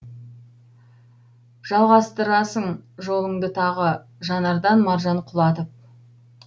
жалғастырасың жолыңды тағы жанардан маржан құлатып